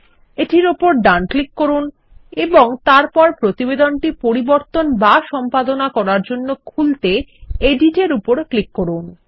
এটির ওপর ডানক্লিক করুন এবং তারপর প্রতিবেদনটি পরিবর্তন বা সম্পাদনা করার জন্যখুলতে এডিট এর উপরক্লিক করুন